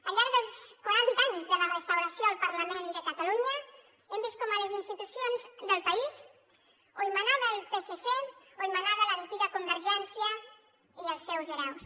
al llarg dels quaranta anys de la restauració al parlament de catalunya hem vist com a les institucions del país o hi manava el psc o hi manava l’antiga convergència i els seus hereus